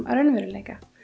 að raunveruleika